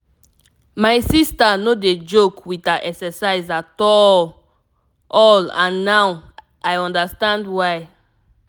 my sister no dey joke with her exercise at all all and now i understand why.